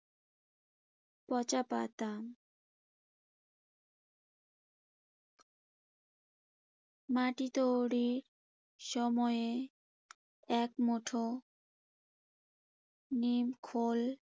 পচা পাতা মাটি তৈরির সময়ে এক মুঠো নিম খৈল